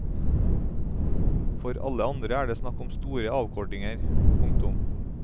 For alle andre er det snakk om store avkortinger. punktum